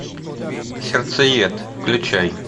сердцеед включай